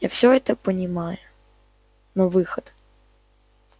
я все это понимаю но выход